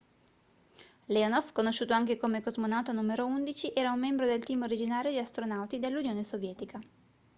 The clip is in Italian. leonov conosciuto anche come cosmonauta n 11 era un membro del team originario di astronauti dell'unione sovietica